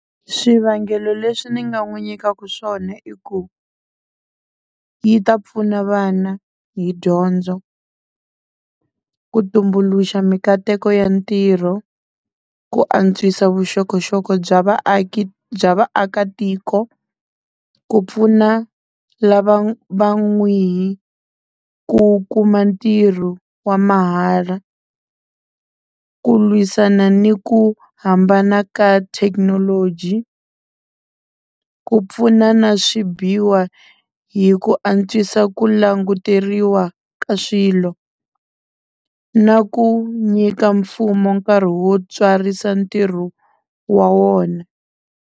Swivangelo leswi ni nga n'wi nyikaka swona i ku yi ta pfuna vana hi dyondzo ku tumbuluxa minkateko ya ntirho ku antswisa vuxokoxoko bya vaaki bya vaakatiko ku pfuna lava va ku kuma ntirho wa mahala ku lwisana ni ku hambana ka thekinoloji ku pfuna na hi ku antswisa ku languteriwa ka swilo na ku nyika mfumo nkarhi wo tswarisa ntirho wa wona.